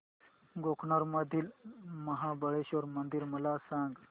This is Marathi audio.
गोकर्ण मधील महाबलेश्वर मंदिर मला सांग